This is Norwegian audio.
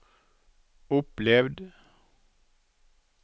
opplevd